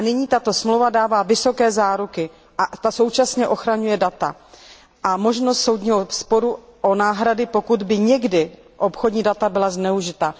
Tato dohoda nyní dává vysoké záruky a současně ochraňuje data a nabízí možnost soudního sporu o náhrady, pokud by někdy obchodní data byla zneužita.